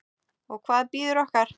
Og hvað bíður okkar?